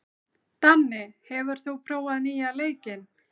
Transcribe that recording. Danni, hefur þú prófað nýja leikinn?